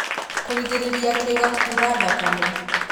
Kũgĩrĩrĩria kĩĩga kuura thakame